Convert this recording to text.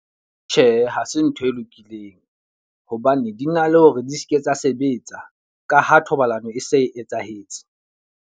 Tjhe, hase ntho e lokileng. Hobane di na le hore di seke tsa sebetsa. Ka ha thobalano e se e etsahetse.